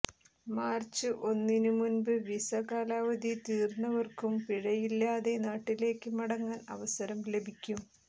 March ഒന്നിന് മുമ്പ് visa കാലാവധി തീർന്നവർക്കും പിഴയില്ലാതെ നാട്ടിലേക്ക് മടങ്ങാൻ അവസരം ലഭിക്കും